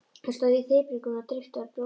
Þeir stóðu í þyrpingum og dreyptu á bjórdósum.